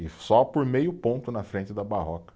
E só por meio ponto na frente da Barroca.